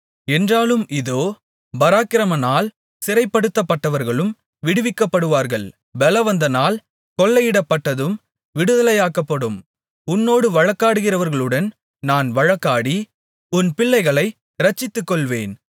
என்றாலும் இதோ பராக்கிரமனால் சிறைப்படுத்தப்பட்டவர்களும் விடுவிக்கப்படுவார்கள் பெலவந்தனால் கொள்ளையிடப்பட்டதும் விடுதலையாக்கப்படும் உன்னோடு வழக்காடுகிறவர்களுடன் நான் வழக்காடி உன் பிள்ளைகளை இரட்சித்துக்கொள்வேன்